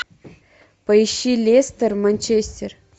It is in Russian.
поищи лестер манчестер